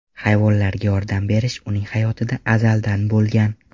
Hayvonlarga yordam berish uning hayotida azaldan bo‘lgan.